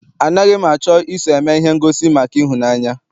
Anaghị m achọ I so eme ihe ngosi maka ịhụnanya.